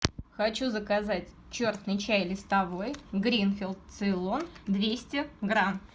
хочу заказать черный чай листовой гринфилд цейлон двести грамм